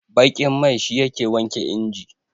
baƙin mai shi yake wanke inji